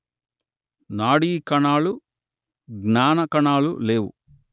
నాడీ కణాలు జ్ఞాన కణాలు లేవు